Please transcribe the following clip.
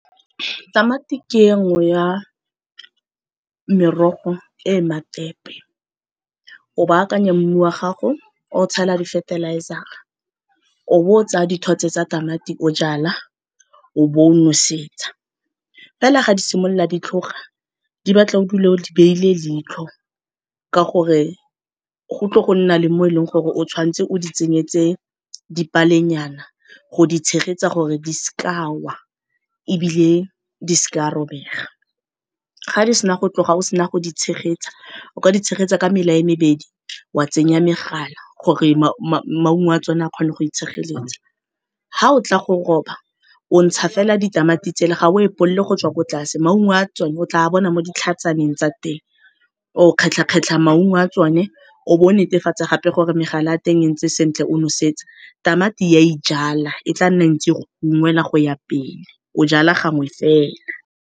Tamati ke e nngwe ya merogo e matepe. O baakanya mmu wa gago o tshela di-fertilizer-ra o bo o tsaya dithotse tsa tamati o jala, o bo o nosetsa. Fela ga di simolola di tlhoga di batla o dule o di beile leitlho ka gore go tle go nna le mo e leng gore o tshwan'tse o di tsenyetse dipalenyana go di tshegetsa gore di seke di awa ebile di seke di a robega. Ga di sena go tloga o sena go di tshegetsa o ka di tshegetsa ka mela e mebedi wa tsenya megala gore maungo a tsone a kgone go itshegeletsa. Ga o tla go roba, o ntsha fela ditamati tsela ga o epolole go tswa ko tlase maungo a tsone o tla bona mo ditlhatsaneng tsa teng, o kgetlha-kgetlha maungo a tsone o bo o netefatsa gape gore megala a teng e ntse sentle o nosetsa. Tamati e ya ijala e tla nna ntse e go ungwela go ya pele, o jala gangwe fela.